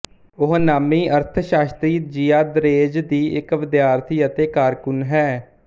ਉਹ ਨਾਮੀ ਅਰਥ ਸ਼ਾਸਤਰੀ ਜਿਆਂ ਦਰੇਜ਼ ਦੀ ਇੱਕ ਵਿਦਿਆਰਥੀ ਅਤੇ ਕਾਰਕੁਨ ਹੈ